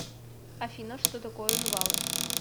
афина что такое жвалы